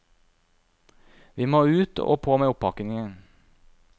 Vi må ut, og på med oppakningen.